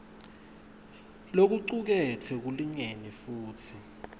lokucuketfwe kulingene futsi